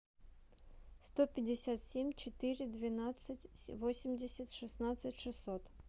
сто пятьдесят семь четыре двенадцать восемьдесят шестнадцать шестьсот